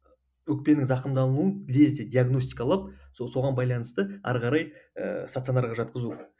өкпенің зақымдалуын лезде диагностикалап соған байланысты ары қарай ііі стационарға жатқызу